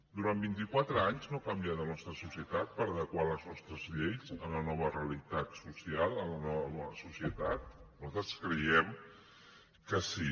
durant vint i quatre anys no ha canviat la nostra societat per adequar les nostres lleis a la nova realitat social a la nova societat nosaltres creiem que sí